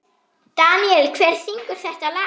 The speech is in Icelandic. Deníel, hver syngur þetta lag?